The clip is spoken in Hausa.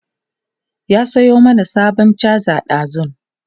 ya Sayo mani sabon charger ɗazun